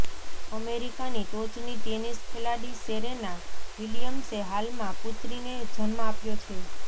અમેરિકાની ટોચની ટેનિસ ખેલાડી સેરેના વિલિયમ્સે હાલમાં પુત્રીને જન્મ આપ્યો છે